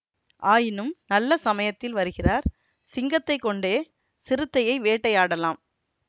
ஆயினும் நல்ல சமயத்தில் வருகிறார் சிங்கத்தைக் கொண்டே சிறுத்தையை வேட்டையாடலாம்